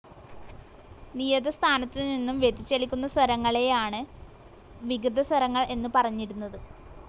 നിയത സ്ഥാനത്തു നിന്നും വ്യതിചലിക്കുന്ന സ്വരങ്ങളെയാണ് വികൃതസ്വരങ്ങൾ എന്നു പറഞ്ഞിരുന്നത്.